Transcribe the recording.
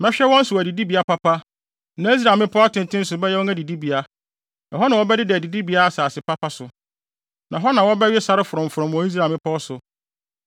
Mehwɛ wɔn so wɔ adidibea papa, na Israel mmepɔw atenten so bɛyɛ wɔn adidibea. Ɛhɔ na wɔbɛdeda adidibea asase papa so, na hɔ na wɔbɛwe sare frɔmfrɔm wɔ Israel mmepɔw so.